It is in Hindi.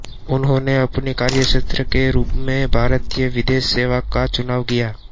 उन्होंने अपने कार्यक्षेत्र के रूप में भारतीय विदेश सेवा का चुनाव किया